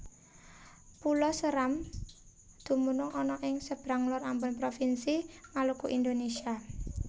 Pulo Séram dumunung ana ing sebrang LorAmbon Provinsi Maluku Indonésia